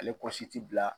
Ale kɔsi ti bila